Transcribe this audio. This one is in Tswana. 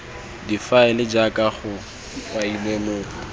difaele jaaka go kailwe mo